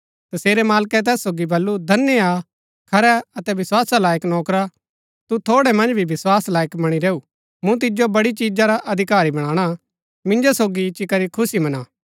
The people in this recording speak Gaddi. तसेरै मालकै तैस सोगी बल्लू धन्य हा खरै अतै विस्‍वासा लायक नौकरा तू थोड़ै मन्ज भी विस्वास लायक वणी रैऊआ मूँ तिजो बड़ी चिजा रा अधिकारी बनाणा मिन्जो सोगी इच्ची करी खुशी मना